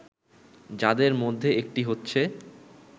যাদের মধ্যে একটি হচ্ছে